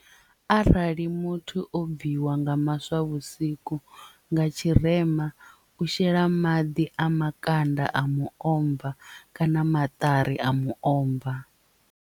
Arali muthu o bviwa nga maswa vhusiku nga tshirema u shela maḓi a makanda a muomva kana maṱari a muomva.